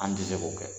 An tɛ se k'o kɛ